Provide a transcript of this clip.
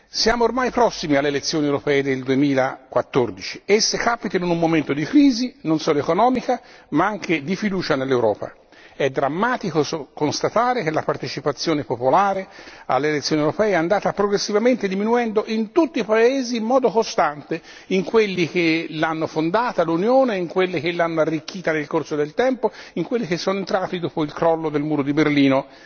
Siamo ormai prossimi alle elezioni europee del 2014, che capitano in un momento di crisi, non solo economica ma anche di fiducia nell'Europa. È drammatico constatare che la partecipazione popolare alle elezioni europee è andata progressivamente diminuendo in tutti i paesi in modo costante, in quelli che hanno fondato l'Unione, in quelli che l'hanno arricchita nel corso del tempo, in quelli che sono entrati dopo il crollo del muro di Berlino.